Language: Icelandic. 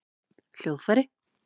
hljóðfæri